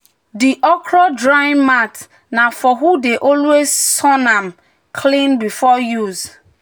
"di okra drying mat na for who dey always sun am clean before use."